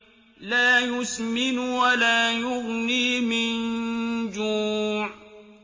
لَّا يُسْمِنُ وَلَا يُغْنِي مِن جُوعٍ